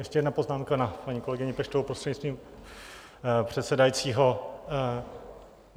Ještě jedna poznámka na paní kolegyni Peštovou, prostřednictvím předsedajícího.